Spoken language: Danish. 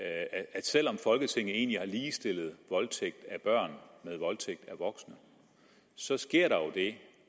at selv om folketinget egentlig har ligestillet voldtægt af børn med voldtægt af voksne så sker der jo